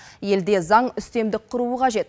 елде заң үстемдік құруы қажет